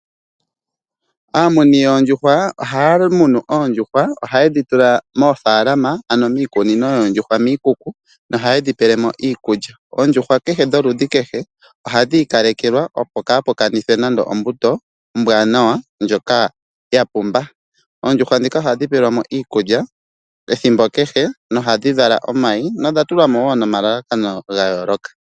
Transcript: Aamuni yoondjuhwa ohaya munu oondjuhwa, ohaye dhi tula moofaalama ano miikunino yoondjuhwa miikuku nohaye dhi pele mo iikulya . Oondjuhwa dholudhi kehe ohadhi ika lekelwa, opo kaapu kanithwe nande ombuto ombwanawa ndjoka ya pumba. Oondjuhwa ndhika ohadhi pewelwa mo iikulya ethimbo kehe no ohadhi vala omayi nodha tulwa mo wo nomalalakano ga yooloka.